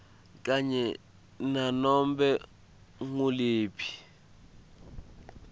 kanye nanobe nguliphi